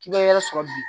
K'i bɛ yɔrɔ sɔrɔ bi